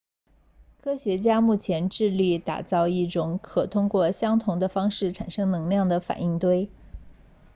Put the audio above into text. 科学家目前致力打造一种可通过相同的方式产生能量的反应堆